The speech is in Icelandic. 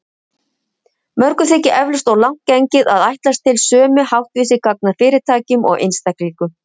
Mörgum þykir eflaust of langt gengið að ætlast til sömu háttvísi gagnvart fyrirtækjum og einstaklingum.